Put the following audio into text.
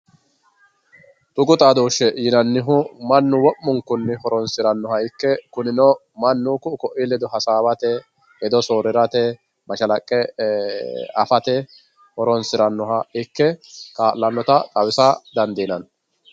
Tuqu xadosheti yinani woyite mannu wo`munku horonsiranoha ikke kunino manu ku`u ko`iha ledo hasawate hedo soorirate mashalaqe afate horonsiranoha ikke kaalanota xawisa dandinani.